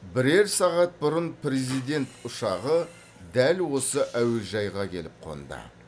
бірер сағат бұрын президент ұшағы дәл осы әуежайға келіп қонды